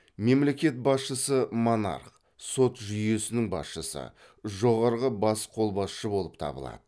мемлекет басшысы монарх сот жүйесінің басшысы жоғарғы бас қолбасшы болып табылады